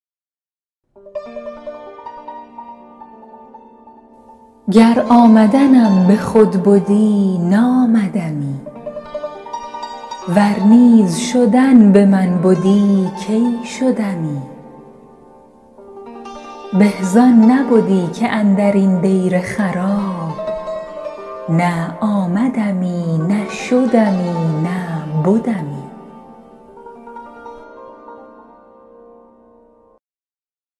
گر آمدنم به خود بدی نآمدمی ور نیز شدن به من بدی کی شدمی به زان نبدی که اندر این دیر خراب نه آمدمی نه شدمی نه بدمی